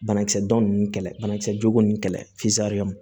Banakisɛ dɔn ninnu kɛlɛ banakisɛjugu ninnu kɛlɛ